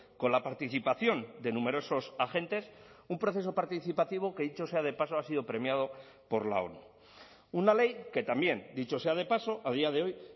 con la participación de numerosos agentes un proceso participativo que dicho sea de paso ha sido premiado por la onu una ley que también dicho sea de paso a día de hoy